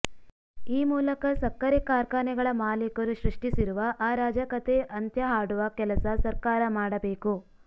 ಈ ಮೂಲಕ ಸಕ್ಕರೆ ಕಾರ್ಖಾನೆಗಳ ಮಾಲೀಕರು ಸೃಷ್ಟಿಸಿರುವ ಅರಾಜಕತೆ ಅಂತ್ಯ ಹಾಡುವ ಕೆಲಸ ಸರ್ಕಾರ ಮಾಡಬೇಕು